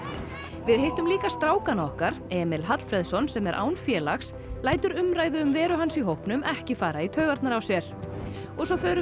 við hittum líka strákana okkar Emil Hallfreðsson sem er án félags lætur umræðu um veru hans í hópnum ekki fara í taugarnar á sér og svo förum við